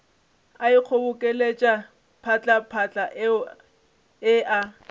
a ikgobokeletša phatlaphatla e a